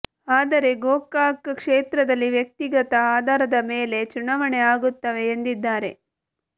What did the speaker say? ಆದರೇ ಗೋಕಾಕ್ ಕ್ಷೇತ್ರದಲ್ಲಿ ವ್ಯಕ್ತಿಗತ ಆಧಾರದ ಮೇಲೆ ಚುನಾವಣೆ ಆಗುತ್ತವೆ ಎಂದಿದ್ದಾರೆ